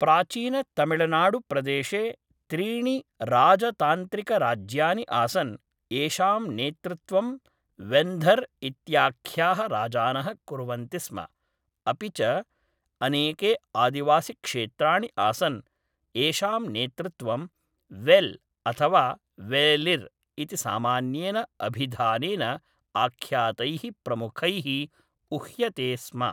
प्राचीनतमिळनाडुप्रदेशे त्रीणि राजतान्त्रिकराज्यानि आसन्, येषां नेतृत्वं वेन्धर् इत्याख्याः राजानः कुर्वन्ति स्म, अपि च अनेके आदिवासिक्षेत्राणि आसन्, येषां नेतृत्वं वेल् अथवा वेलिर् इति सामान्येन अभिधानेन आख्यातैः प्रमुखैः उह्यते स्म।